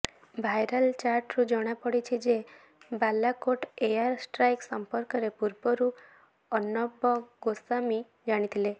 viral ଚାଟ୍ରୁ ଜଣାପଡ଼ିଛି ଯେ ବାଲାକୋଟ ଏୟାର ଷ୍ଟ୍ରାଇକ୍ ସମ୍ପର୍କରେ ପୂର୍ବରୁ ଅର୍ଣ୍ଣବ ଗୋସ୍ବାମୀ ଜାଣିଥିଲେ